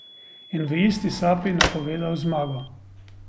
In v isti sapi napovedal zmago.